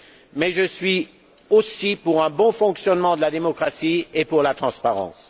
Mais je suis aussi pour un bon fonctionnement de la démocratie et pour la transparence.